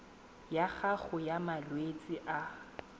ya gago ya malwetse a